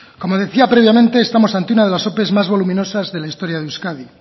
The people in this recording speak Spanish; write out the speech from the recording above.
como decía previamente estamos ante una de las ope más voluminosas de la historia de euskadi